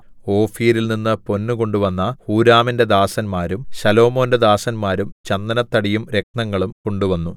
ഓഫീരിൽനിന്നു പൊന്നു കൊണ്ടുവന്ന ഹൂരാമിന്റെ ദാസന്മാരും ശലോമോന്റെ ദാസന്മാരും ചന്ദനത്തടിയും രത്നങ്ങളും കൊണ്ടുവന്നു